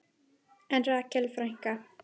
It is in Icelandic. En Rakel frænka?